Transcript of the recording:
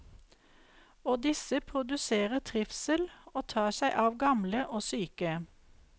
Og disse produserer trivsel og tar seg av gamle og syke.